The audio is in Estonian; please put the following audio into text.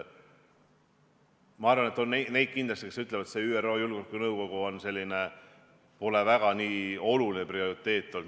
Ma arvan, et ilmselt on neid, kelle arvates ÜRO julgeolekunõukogu pole väga oluline ega prioriteetne olnud.